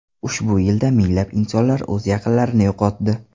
Ushbu yilda minglab insonlar o‘z yaqinlarini yo‘qotdi.